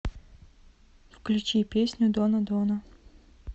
включи песню дона дона